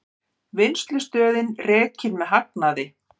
Vinnslustöðin rekin með hagnaði